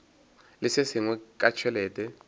le se sengwe ka tšhelete